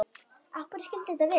Af hverju skyldi þetta vera?